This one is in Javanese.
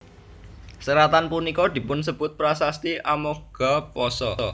Seratan punika dipunsebut Prasasti Amoghapasa